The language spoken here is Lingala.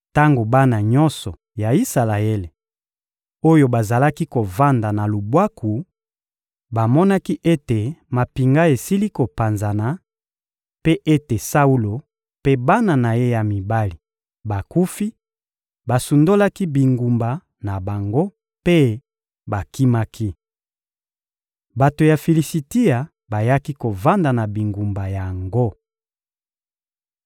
Tango bana nyonso ya Isalaele, oyo bazalaki kovanda na lubwaku, bamonaki ete mampinga esili kopanzana, mpe ete Saulo mpe bana na ye ya mibali bakufi, basundolaki bingumba na bango mpe bakimaki. Bato ya Filisitia bayaki kovanda na bingumba yango.